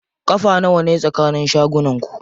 Ƙafa nawane tsakanin shagunan ku?